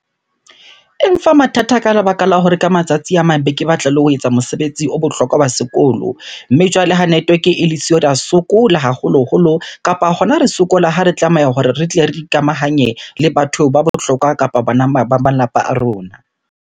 E mfa mathata ka lebaka la hore ka matsatsi a mang be ke batla le ho etsa mosebetsi o bohlokwa wa sekolo. Mme jwale ha network-e e le siyo, re ya sokola haholoholo kapa hona re sokola ha re tlameha hore re tle re ikamahanye le batho ba bohlokwa kapa ba malapa a rona.